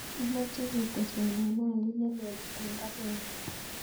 Amache keteswon anwanit nelelach en baruenyun